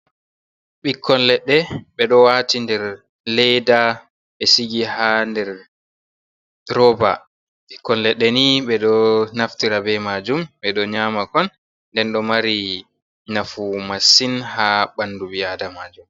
Bikkon leɗɗe be ɗo wati ndɗer leiɗa be sigi ha ɗer roba. Bikkon leɗɗe ni be do naftira be majum be ɗo nyama kon. Nɗen ɗo mari nafu masin ha banɗu bi aɗamajum.